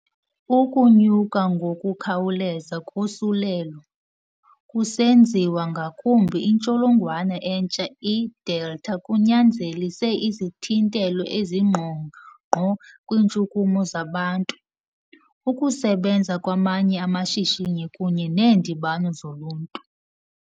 Ukunyuka ngokukhawuleza kosulelo, kusenziwa ngakumbi intsholongwana entsha i-Delta kunyanzelise izithintelo ezingqongqo kwiintshukumo zabantu, ukusebenza kwamanye amashishini, kunye neendibano zoluntu.